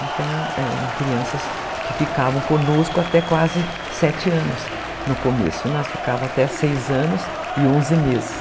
Então, eram crianças que ficavam conosco até quase sete anos no começo, né, elas ficavam até seis anos e onze meses.